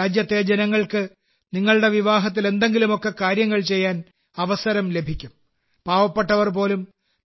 രാജ്യത്തെ ജനങ്ങൾക്ക് നിങ്ങളുടെ വിവാഹത്തിൽ എന്തെങ്കിലുമെക്കെ കാര്യങ്ങൾ ചെയ്യാൻ അവസരം ലഭിക്കും പാവപ്പെട്ടവർപോലും